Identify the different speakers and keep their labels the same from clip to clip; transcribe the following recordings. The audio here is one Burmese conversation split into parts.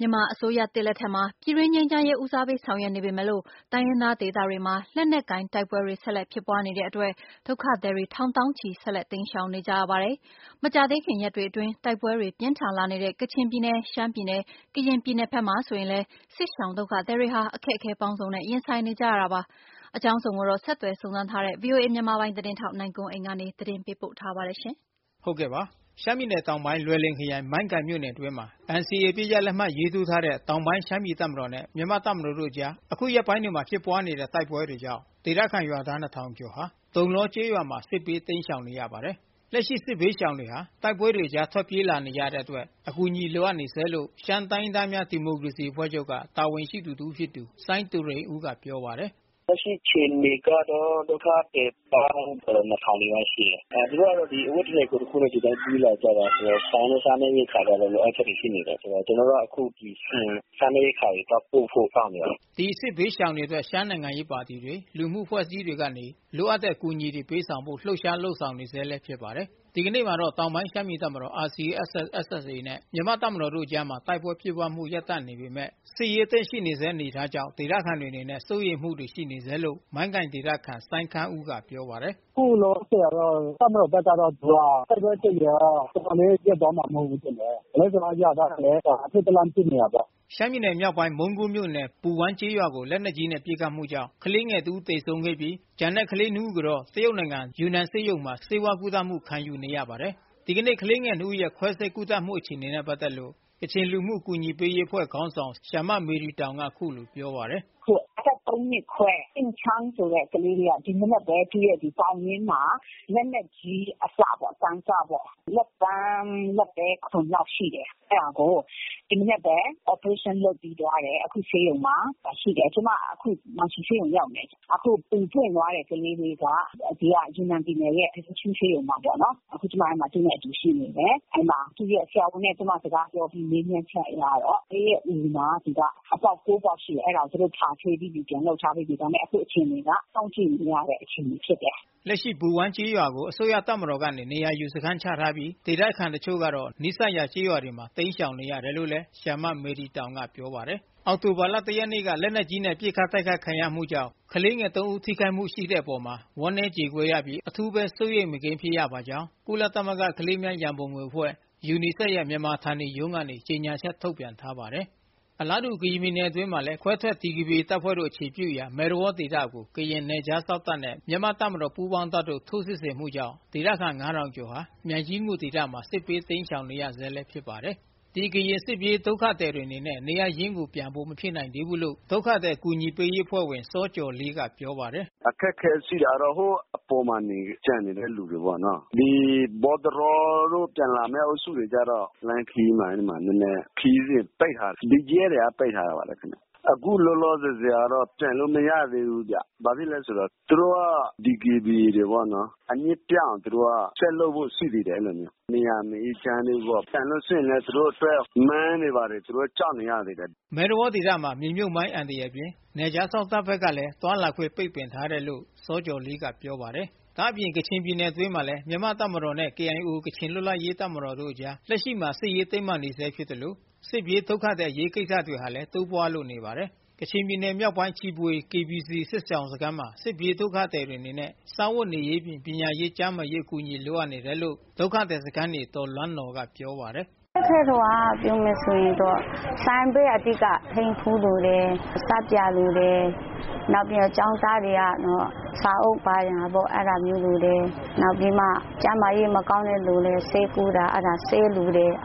Speaker 1: မြန်မာအစိုးရသစ်လက်ထက်မှာ ပြည်တွင်းငြိမ်းချမ်းရေးဦးစားပေးဆောင်ရွက်နေပေမဲ့ တိုင်းရင်းသားဒေသတွေမှာ လက်နက် ကိုင်တိုက်ပွဲတွေ ဆက်လက်ဖြစ်ပွားနေတဲ့အတွက် ဒုက္ခသည်တွေ ထောင်သောင်းချီ ဆက်လက် တိမ်းရှောင်နေကြရပါတယ်။ မကြာသေးခင်ရက်တွေအတွင်း တိုက်ပွဲတွေ ပြင်းထန်လာနေတဲ့ ကချင်ပြည်နယ် ရှမ်းပြည်နယ် ကရင်ပြည်နယ်ဘက်မှာ ဆိုရင်လည်း စစ်ရှောင်ဒုက္ခသည်တွေဟာ အခက်အခဲပေါင်းစုံနဲ့ ရင်ဆိုင်နေကြရတာပါ။ အကြောင်းစုံကိုတော့ ဆက်သွယ်စုံစမ်းထားတဲ့ ဗွီအိုအေ မြန်မာပိုင်းသတင်းထောက် နိုင်ကွန်းအိန်ကနေ သတင်းပေးပို့ထားပါတယ်။ ရှမ်းပြည်နယ်တောင်ပိုင်းလွယ်လင်ခရိုင် မိုင်းကိုင်မြို့နယ်အတွင်းမှာ NCA အပစ်ရပ် လက်မှတ်ထိုးထားတဲ့ တောင်ပိုင်းရှမ်းပြည် တပ်မ တော်နဲ့မြန်မာ့တပ်မတော် တို့အကြား အခုရက်ပိုင်းတွေမှာ ဖြစ်ပွါးနေတဲ့ တိုက်ပွဲတွေကြောင့် ဒေသခံရွာသားနှစ်ထောင်ကျော် ဟာ တုံလောကျေးရွာမှာစစ်ဘေးတိမ်းရှောင်နေရပါတယ်။ လက်ရှိစစ်ဘေးရှောင်တွေဟာ တိုက်ပွဲအကြားထွက်ပြေးလာနေတဲ့အတွက် အကူညီလိုအပ်နေဆဲလို့ ရှမ်းတိုင်းရင်းသားများ ဒီမိုကရေစီအဖွဲ့ချုပ်က တာဝန်ရှိသူတဦးဖြစ်သူ စိုင်းသူရိန်ဦးက ပြောပါတယ်။ “လက်ရှိအခြေအနေကတော့ ဒုက္ခသည်ပေါင်း ၂၀၀၀ နီးပါးလောက်ရှိတယ်။ သူတို့ကတော့ အဝတ်တထည် ကိုယ်တခုနဲ့ ပြေးလာကြတာဆိုတော့ အဝတ်အစားနဲ့ စားနပ်ရိက္ခာတွေလိုအပ်ချက်တွေရှိနေတယ်။ ကျနော်တို့ကအခု ဆန်တွေ၊ စားနပ်ရိက္ခာတွေသွားပို့ဖို့ လုပ်နေတယ်။” ဒီစစ်ဘေးရှောင်တွေအတွက် ရှမ်းနိုင်ငံရေးပါတီတွေ လူမှုအဖွဲ့အစည်းတွေကနေ လိုအပ်တဲ့အကူညီတွေပေးဆောင်ဖို့ လှုပ်ရှား လုပ်ဆောင်နေဆဲဖြစ်ပါတယ်။ ဒီနေ့မှာတော့ တောင်ပိုင်းရှမ်းပြည်တပ်မတော် RCSS/SSAနဲ့မြန်မာ့တပ်မတော်တို့အကြားမှာ တိုက်ပွဲဖြစ်ပွါးမှုရပ်တန့်နေပေမဲ့ စစ်ရေးအသင့်ရှိနေဆဲအနေအထားကြောင့် ဒေသခံတွေအနေနဲ့ စိုးရိမ်မှုတွေရှိနေဆဲလို့ မိုင်းကိုင်ဒေသခံစိုင်းခမ်းဦး ကပြော ပါတယ်။ “အခုလောလောဆယ်ကတော့ တပ်မတော်ဘက်ကတော့ သူကတိုက်ပွဲဖြစ်နေတော့ ဒီလိုနဲ့တော့ ရပ်သွားမှာ မဟုတ်ဘူးထင်တယ်။ ကျနော်တို့ အရပ်သားတွေလည်း အထိတ်တလန့်ဖြစ်နေတာပေါ့။” ရှမ်းပြည်နယ်မြောက်ပိုင်း မုန်းကိုးမြို့နယ် ပူဝမ်းကျေးရွာကို လက်နက်ကြီးနဲ့ပစ်ခတ်မှုကြောင့် ကလေးငယ်တဦးသေဆုံးပြီး ကျန်တဲ့ နှစ်ဦးကို တရုတ်နိုင်ငံ ယူနန်ဆေးရုံမှာ ဆေးဝါးကုသခံယူနေကြရပါတယ်။ ဒီကနေ့ကလေးငယ်နှစ်ဦးရဲ့ခွဲစိပ်ကုသမှုအခြေအနေနဲ့ပက်သက်လို့ကချင်လူမှုကူညီပေးရေးအဖွဲ့ခေါင်းဆောင်ဆရာမမေရီတောင် က အခုလိုပြောပါတယ်။ “အသက် ၃ နှစ်ခွဲ ယိန်းချမ်းဆိုတဲ့ ကလေးလေးက ဒီမနက်ပဲ သူ့ပေါင်ရင်းမှာ လက်နက်ကြီးအစပေါ့နော်၊ လက်သည်းခွံလောက်ရှိတယ် ဒီမနက်ပဲ operation လုပ်ပြီးသွားပြီ။ အခုဆေးရုံမှာရှိတယ် ကျမ မန်ရှီဆေးရုံရောက်နေတယ်။ အခု အူပွင့်သွားတဲ့ ကလေးလေးက ယူနန်ပြည်နယ်ဆေးရုံမှာပေါ့နော်။ အခုကျမ သူနဲ့အတူရှိနေတယ်။ သူ့ဆရာဝန်နဲ့ စကားပြောအပြီး မေးမြန်းချက်အရတော့ ကလေး အူမှာ အပေါက် ၉ ပေါက်ရှိတယ် အဲဒါကို ဖာထေးပြီးပြီ။ ဒါပေမယ့် အခုအခြေအနေက စောင့်ကြည့်နေရတဲ့ အခြေအနေဖြစ်တယ်။” လက်ရှိပူဝမ်းကျေးရွာကို အစိုးရတပ်မတော်ကနေ နေရာယူစခန်းချထားပြီး ဒေသခံတချို့ကတော့ နီးစပ်ရာကျေးရွာတွေမှာ တိမ်းရှောင်နေရတယ်လို့လဲ ဆရာမမေရီတောင် ကပြောပါတယ်။ အောက်တိုဘာလ ရက်နေ့က လက်နက်ကြီးနဲ့ ပစ်ခတ်တိုက်ခိုက်ခံရမှု ကြောင့် ကလေးငယ် ဦးထိခိုက်မှုရှိခဲ့တဲ့အပေါ် ဝမ်းနည်းကြေကွဲရပြီး အထူးဘဲ စိုးရိမ်မကင်း ဖြစ်ရပါကြောင်း ကုလသမဂ္ဂကလေးသူငယ်များ ရံပုံငွေ အဖွဲ့ UNICEF ရဲ့ မြန်မာ ဌာနေရုံးကနေ ကြေညာချက် ထုတ်ပြန်ထားပါတယ်။ အလားတူကရင်ပြည်နယ်အတွင်းမှာလဲ ခွဲထွက်ဒီကေဘီအေအခြေပြုရာ မဲသဝေါဒေသကို ကရင်နယ်ခြားစောင့်တပ်နဲ့ မြန်မာ့တပ်မ တော်ပူးပေါင်းတပ်တို့ထိုးစစ်ဆင်မှုကြောင့် ဒေသခံရွာသား ကျော်ဟာ မြိုင်ကြီးငူဒေသမှာ စစ်ဘေးတိမ်းရှောင်နေရဆဲ ဖြစ်ပါ တယ်။ ဒီကရင်စစ်ပြေးဒုက္ခသည်တွေအနေနဲ့ နေရပ်ရင်းကိုပြန်ဖို့မဖြစ်နိုင်သေးဘူးလို့ ဒုက္ခသည်အကူညီပေးရေးအဖွဲ့ဝင် စောကျော်လေး ကပြောပါတယ်။ “အခက်အခဲရှိတာကတော့ ဟိုအပေါ်မှာ ကျန်နေတဲ့လူတွေပေါ့နော် မဲသဝေါကနေ ပြန်လာမယ့် အုပ်စုကတော့ လမ်းခရီးမှာ ခရီးစဉ်ပိတ်ထားခံရပါတယ်ခင်ဗျ။ အခုလောလောဆယ်ဆယ်ကတော့ ပြန်လို့မရသေးဘူးဗျာ ဘာဖြစ်လို့လဲဆိုတော့ သူတို့က DKBAတွေပေါ့နော် အမြစ်ပြတ်အောင် ဆက်လုပ်ဖို့ရှိသေးတယ် အဲလိုမျိုး ။ ပြန်လို့မရသေးဘူး ပြန်ရင်လည်း သူတို့အတွက် မိုင်းတွေလည်း ကြောက်နေရသေးတယ်။” မဲသဝေါဒေသမှာမြေမြုတ်မိုင်းအန္တရာယ်အပြင် နယ်ခြားစောင့်တပ်ဘက်ကလဲ သွားလာခွင့်ပိတ်ပင်ထားတယ်လို့လဲ စောကျော်လေး ကပြောပါတယ်။ ဒါ့အပြင် ကချင်ပြည်နယ်အတွင်းမှာလဲ မြန်မာ့တပ်မတော်နဲ့ KIO ကချင်လွတ်လပ်ရေးတပ်မတော်တို့ အကြားလက်ရှိစစ်ရေးတင်း မာနေဆဲဖြစ်သလို စစ်ပြေးဒုက္ခသည်အရေးကိစ္စတွေဟာလဲတိုးပွါးလို့နေပါတယ်။ ကချင်ပြည်နယ် မြောက်ပိုင်းရှိ ချီဖွေ KBC စစ်ရှောင်စခန်းမှာ စစ်ပြေးဒုက္ခသည်တွေအနေနဲ့ စားဝတ်နေရေးအပြင် ပညာရေး၊ ကျန်းမာရေး အကူအညီတွေလိုအပ်နေတယ်လို့ ဒုက္ခသည်စခန်းနေ ဒေါ်လွမ်းနော်ကပြောပါတယ်။ “အခက်အခဲဆုံးကပြောမယ်ဆိုရင်တော့ စားစရာလိုတယ်၊ ဆပ်ပြာလိုတယ် နောက်ပြီးတော့ ကျောင်းသားတွေက စာအုပ်တွေလိုတယ်။ နောက်ပြီးမှ ကျန်းမာရေးမကောင်းတဲ့လူတွေ ဆေးလိုတယ်။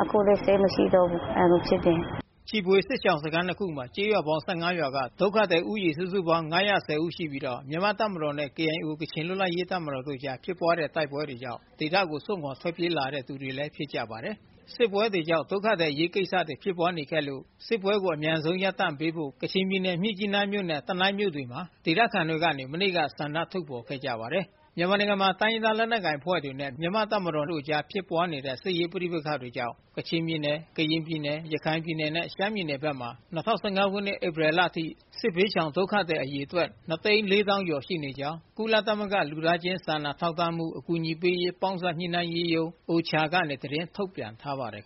Speaker 1: အခုလည်းဆေးတွေမရှိတော့ဘူး။” ချီဖွေစစ်ရှောင်စခန်း ခုမှာ ကျေးရွာပေါင်း ၁၅ ရွာက ဒုက္ခသည်ဦးရေ စုစုပေါင်း ၅၁၀ ဦး ရှိပြီးတော့ မြန်မာ့တပ်မတော်နဲ့ KIO ကချင်လွတ်လပ်ရေးတပ်မတော်တို့ အကြားဖြစ်ပွါးတဲ့တိုက်ပွဲတွေကြောင့်ဒေသကိုစွန့်ခွါထွက်ပြေးလာတဲ့သူတွေဖြစ်ကြပါတယ်။ စစ်ပွဲတွေကြောင့် ဒုက္ခသည်အရေးကိစ္စတွေဖြစ်ပွါးနေခဲ့လို့ စစ်ပွဲတွေအမြန်ရပ်တန့်ပေးဖို့ကချင်ပြည်နယ် မြစ်ကြီးနားနဲ့ တနိုင်းမြို့ တွေမှာ ဒေသခံတွေကနေ မနေ့ကဆန္ဒထုတ်ဖော်ခဲ့ကြပါတယ်။ မြန်မာနိုင်ငံမှာ တိုင်းရင်းသားလက်နက်ကိုင် အဖွဲ့နဲ့ မြန်မာအစိုးရတို့အကြားဖြစ်ပွါး တဲ့ စစ်ရေးပဋိပက္ခတွေကြောင့် ကချင်ပြည်နယ်၊ ကရင်ပြည်နယ် ရခိုင်ပြည်နယ်နဲ့ ရှမ်းပြည်နယ်ဘက်မှာ၂၀၁၅ ခုနှစ်၊ ဧပြီလအထိ စစ်ဘေးရှောင်ဒုက္ခသည် အရေအတွက် ၂၄၀၀၀၀ ကျော် ရှိကြောင်း ကုလသမဂ္ဂလူသားချင်း စာနာထောက်ထားမှု အကူအညီပေးရေး ပေါင်းစပ် ညှိနှိုင်းရေးရုံး ကနေ သတင်းထုတ်ပြန်ထားပါတယ်